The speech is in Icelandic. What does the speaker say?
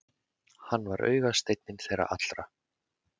Hann var augasteinninn þeirra allra.